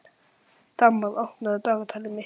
Tamar, opnaðu dagatalið mitt.